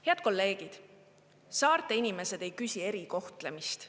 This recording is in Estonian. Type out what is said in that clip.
Head kolleegid, saarte inimesed ei küsi erikohtlemist.